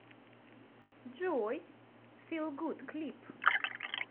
джой фил гуд клип